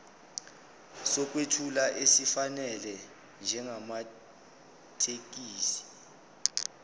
sokwethula esifanele njengamathekisthi